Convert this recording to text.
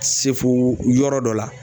Sefo yɔrɔ dɔ la.